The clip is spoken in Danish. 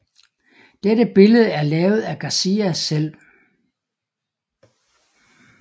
Dette billede er lavet af Garcia selv